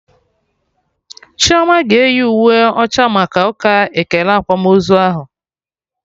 Chioma ga-eyi uwe ọcha maka ụka ekele akwamozu ahụ